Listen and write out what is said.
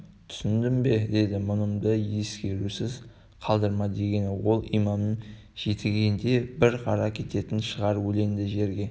түсіндің бе деді мұнымды ескерусіз қалдырма дегені ол имамның жетегінде бір қара кететін шығар өлеңді жерде